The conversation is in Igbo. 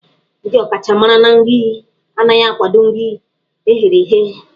Ndị ọkachamara na nri anaghị akwado nri eghere eghe.